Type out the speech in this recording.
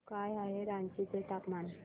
काय आहे रांची चे तापमान